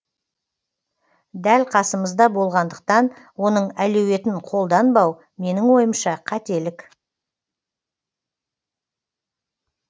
дәл қасымызда болғандықтан оның әлеуетін қолданбау менің ойымша қателік